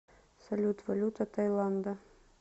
салют валюта тайланда